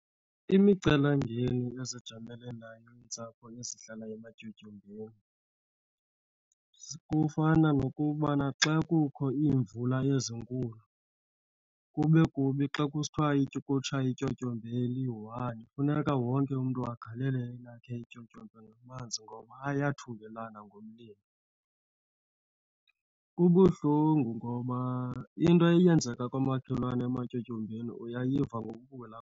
Imicelimngeni ezijamelene nayo iintsapho ezihlala ematyotyombeni kufana nokubana xa kukho iimvula ezinkulu kube kubi xa kusithiwa ukutsha ityotyombe eliyi-one, funeka wonke umntu agalele elakhe ityotyombe ngamanzi ngoba ayathungelana ngomlilo. Kubuhlungu ngoba into eyenzeka kwamakhelwane ematyotyombeni uyayiva ngoku ulapha.